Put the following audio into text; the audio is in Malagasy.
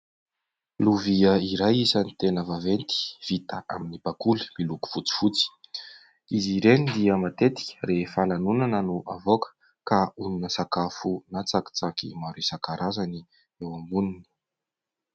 Lovia iray isan'ny tena vaventy, vita amin'ny bakoly miloko fotsifotsy. Izy ireny dia matetika rehefa lanonana no avaoka ka onona sakafo na tsakitsaky maro isankarazany eo amboniny.